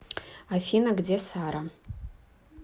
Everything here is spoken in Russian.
афина где сара